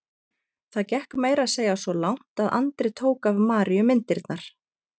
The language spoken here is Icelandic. Það gekk meira að segja svo langt að Andri tók af Maríu myndirnar.